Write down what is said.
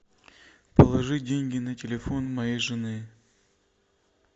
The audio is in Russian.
положи деньги на телефон моей жены